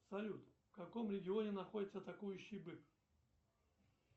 салют в каком регионе находится атакующий бык